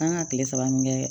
An ka tile saba min kɛ